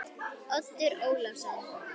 Oddur Ólason.